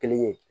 Kelen ye